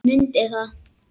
Mundi það.